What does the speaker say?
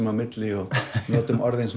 á milli og notum orðin